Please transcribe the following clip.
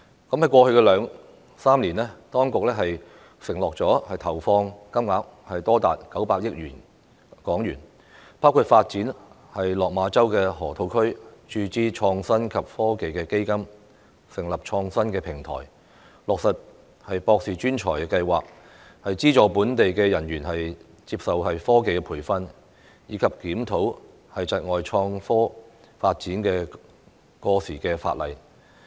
在過去兩三年，當局承諾投放金額多達900億港元，包括發展落馬洲河套區、注資創科及科技基金、成立創新平台、落實"博士專才庫"、資助本地人員接受科技培訓，以及檢討窒礙創科發展的過時法例。